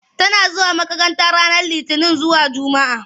Tana zuwa makranta ranar Litini zuwa Jumaa.